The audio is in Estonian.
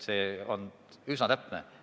See on üsna täpne hinnang.